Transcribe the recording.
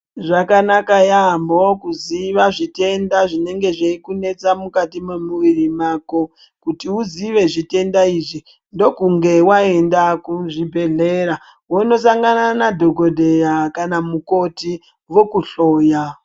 Zvakanaka yaamho kuziva zvitenda zvinenge zvechikunesa mukati mwemuviri mako. Kuti uziye zvitenda izvi ndokunge waenda kuzvibhedhlera wondosangana nadhokodheya kana mukoti vokuhloya.